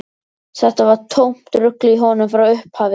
Þetta var tómt rugl í honum frá upphafi.